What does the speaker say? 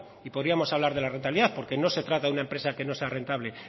y podríamos hablar de la rentabilidad porque no se trata de una empresa que no sea rentable